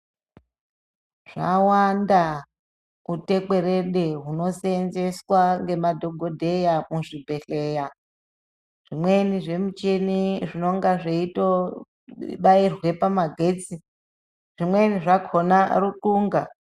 Zvawanda utekwerede hunosenzeswa ngemadhokodheya muzvibhedhlera zvimwe zvimuchini zvinenge zveitobairwe pamagetsi. Zvimweni zvakhona rukunga.